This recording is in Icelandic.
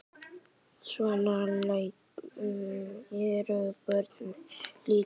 Svona eru börnin þeirra líka.